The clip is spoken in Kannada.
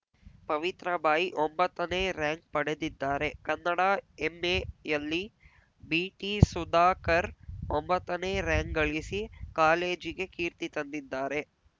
ಪವಿತ್ರಬಾಯಿ ಒಂಬತ್ತನೇ ರಾರ‍ಯಂಕ್‌ ಪಡೆದಿದ್ದಾರೆ ಕನ್ನಡ ಎಂಎಯಲ್ಲಿ ಬಿಟಿಸುಧಾಕರ್‌ ಒಂಬತ್ತನೇ ರಾರ‍ಯಂಕ್‌ ಗಳಿಸಿ ಕಾಲೇಜಿಗೆ ಕೀರ್ತಿ ತಂದಿದ್ದಾರೆ